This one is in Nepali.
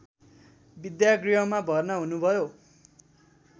विद्यागृहमा भर्ना हुनुभयो